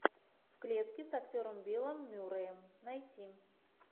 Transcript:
в клетке с актером биллом мюрреем найти